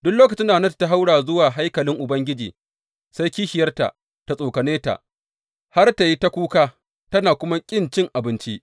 Duk lokacin da Hannatu ta haura zuwa haikalin Ubangiji, sai kishiyarta tă tsokane ta har tă yi ta kuka tă kuma ƙi cin abinci.